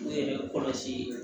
U yɛrɛ kɔlɔsi